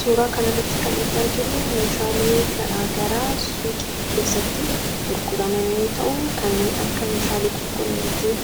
suuraa kan irratti kannuti arginu meeshaalee garaa suuqii keessatti gurguramanii yoo ta'u kanneen akka meeshaalee qulqullinaa ittiin